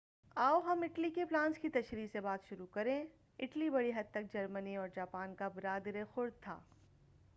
آو ہم اٹلی کے پلانس کی تشریح سے بات شروع کریں اٹلی بڑی حد تک جرمنی اور جاپان کا برادرِ خورد تھا